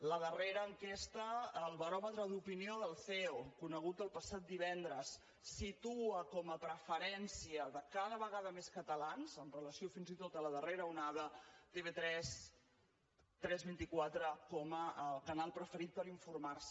la darrera enquesta el baròmetre d’opinió del ceo conegut el passat divendres situa com a preferència de cada vegada més catalans amb relació fins i tot a la darrera onada tv3 tres vint quatre com a canal preferit per informar se